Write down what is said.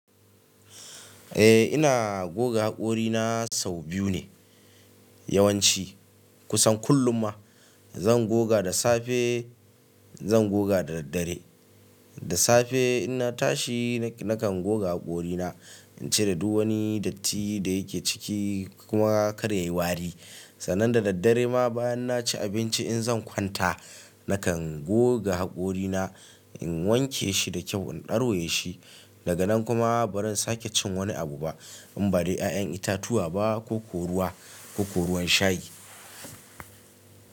Eh ina goga haƙorina sau biyu ne. Yawanci kusan kullum ma zan goga da safe zan goga da daddare. Da safe in na tashi nakan goga haƙorina in cire duk wani datti da yake ciki kuma kar ya yi wari. Sannan da daddare ma bayan na ci abinci in zan kwanta nakan goga haƙorina in wanke shi da kyau in ɗauraye shi. Daga nan kuma baran sake cin wani abu ba in badai ƴaƴan itatuwa ba ko ko ruwa ko ko ruwan shayi.